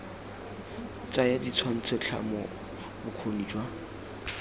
tsaya ditshwantsho tlhamo bokgoni jwa